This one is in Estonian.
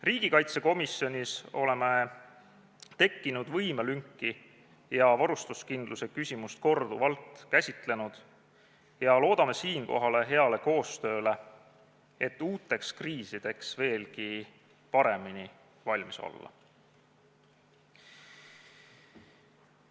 Riigikaitsekomisjonis oleme tekkinud võimelünki ja varustuskindluse küsimust korduvalt käsitlenud ja loodame siinkohal heale koostööle, et uuteks kriisideks veelgi paremini valmis olla.